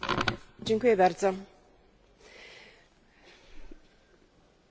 W okresie kryzysu ekonomicznego szczególnie możemy docenić zalety jednolitego rynku.